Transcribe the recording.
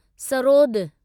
sarod